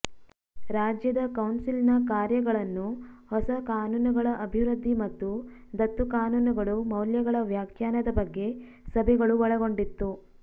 ರಾಜ್ಯದ ಕೌನ್ಸಿಲ್ನ ಕಾರ್ಯಗಳನ್ನು ಹೊಸ ಕಾನೂನುಗಳ ಅಭಿವೃದ್ಧಿ ಮತ್ತು ದತ್ತು ಕಾನೂನುಗಳು ಮೌಲ್ಯಗಳ ವ್ಯಾಖ್ಯಾನದ ಬಗ್ಗೆ ಸಭೆಗಳು ಒಳಗೊಂಡಿತ್ತು